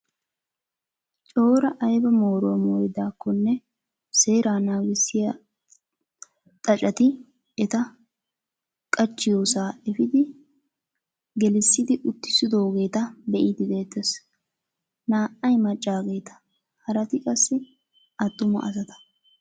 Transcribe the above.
Cora ayba mooruwaa mooridaakkonne seeraa nangissiyaa xaaceti eta qachchiyoosaa efiidi gelisidi uttisidoogeta be'idi de'ettees. Naa"ay maccaageta haraati qassi attuma asata.